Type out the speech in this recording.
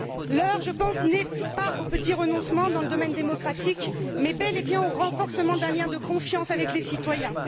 L'heure, je pense, n'est pas aux petits renoncements dans le domaine démocratique, mais bel et bien au renforcement d'un lien de confiance avec les citoyens.